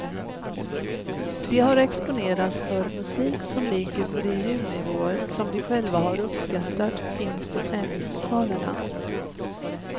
De har exponerats för musik som ligger på de ljudnivåer som de själva har uppskattat finns på träningslokalerna.